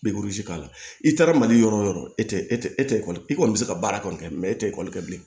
k'a la i taara mali yɔrɔ wo yɔrɔ e tɛ e tɛ e tɛ ekɔli i kɔni bɛ se ka baara kɔni kɛ mɛ e tɛ ekɔli kɛ bilen